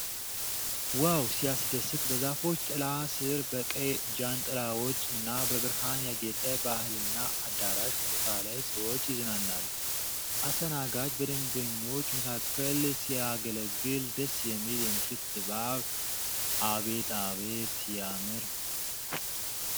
ዋው ሲያስደስት ! በዛፎች ጥላ ስር ፣ በቀይ ጃንጥላዎች እና በብርሃን ያጌጠ ባህልና አዳራሽ ቦታ ላይ ሰዎች ይዝናናሉ። አስተናጋጅ በደንበኞች መካከል ሲያገለግል፣ ደስ የሚል የምሽት ድባብ አቤት አቤት !!። ሲያምር!